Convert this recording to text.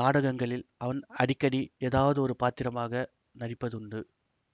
நாடகங்களில் அவன் அடிக்கடி ஏதாவது ஒரு பாத்திரமாக நடிப்பதுண்டு